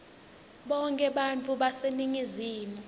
bonkhe bantfu baseningizimu